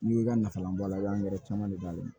N'i ka nafa bɔ a la i b'an gɛrɛ caman de b'a la